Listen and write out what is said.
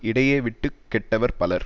இடையே விட்டு கெட்டவர் பலர்